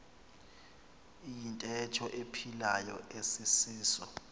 iyintetho ephilayo asisiso